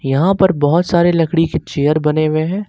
यहां पर बहोत सारे लकड़ी के चेयर बने हुए हैं।